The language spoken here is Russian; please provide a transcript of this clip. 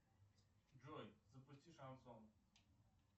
джой запусти шансон